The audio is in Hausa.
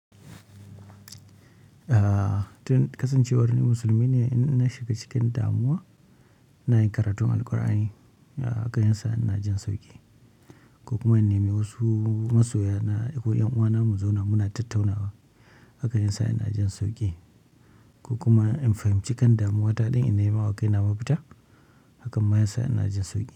Ah, tun kasancewar ni musulmi ne. In na shiga cikin damuwa ina yin karatun Alqur'ani, hakan ya sa ina jin sauƙi. Ko kuma in nemi wasu masoya na, ko ƴan'uwana mu zauna muna tattaunawa, haka yasa ina jin sauƙi. Ko kuma in fahimci kan damuwa ta ɗin in nemawa kaina mafita, hakan ma yasa ina jin sauƙi.